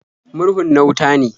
Murhun na wuta ne.